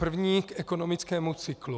První - k ekonomickému cyklu.